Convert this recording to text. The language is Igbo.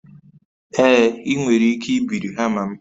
Ee, ị nwere ike ibiri hama m